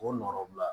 K'o nɔɔrɔ bila